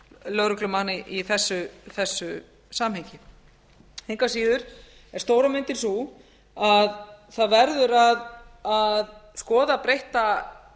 lögreglumanna í þessu samhengi engu að síður er stóra myndin sú að það verður að skoða breyttan tíðaranda það